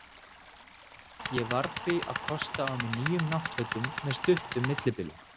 Ég varð því að kosta á mig nýjum náttfötum með stuttum millibilum.